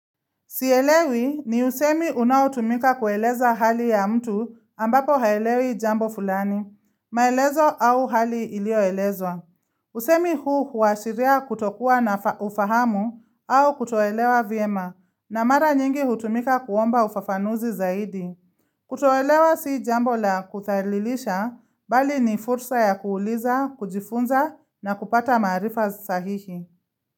Sielewi ni usemi unaotumika kueleza hali ya mtu ambapo haelewi jambo fulani, maelezo au hali iliyo elezwa. Usemi huu huashiria kutokua na ufahamu au kutoelewa vyema na mara nyingi hutumika kuomba ufafanuzi zaidi. Kutoelewa si jambo la kuthalilisha, bali ni fursa ya kuuliza, kujifunza na kupata marifa sahihi.